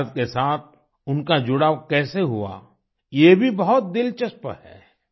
भारत के साथ उनका जुड़ाव कैसे हुआ ये भी बहुत दिलचस्प है